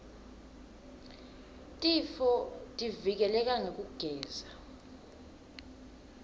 tifotivike leka ngekugeza